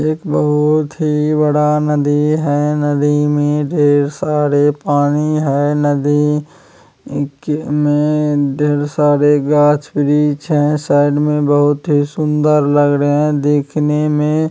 एक बहोत ही बड़ा नदी है नदी में ढेर सारे पानी है नदी क में ढेर सारे गाछ-वृक्ष हैं साइड में बहोत ही सुंदर लग रहे हैं देखने में।